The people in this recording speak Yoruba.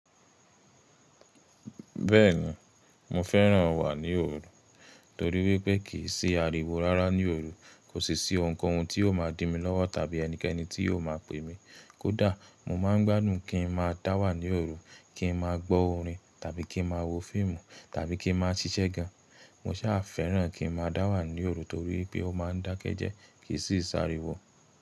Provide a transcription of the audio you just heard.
Bẹ́ẹ̀ni mo fẹ́ràn wà ní òru, torí wípé kìí sí ariwo rárá ní òru. Kò sì sí ohun kóhun tí yóò máa dí mi lọ́wọ́ tàbí ẹnikẹ́ni tí yóò máa pè mi. Kódà mo máa ń gbádùn kí n máa dá wà ní òru, kí n máa gbọ́ orin tàbí kí n máa wo fíìmù tàbí kí n máa ṣiṣẹ́ gan. Mo sà fẹ́ràn kí n máa dá wà ní òru torí pé ó máa ń dákẹ́ jẹ́ẹ́, kì í sì sáriwo.